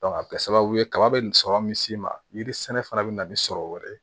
a bɛ kɛ sababu ye kaba bɛ nin sɔrɔ min'i ma yiri sɛnɛ fana bɛ na ni sɔrɔ wɛrɛ ye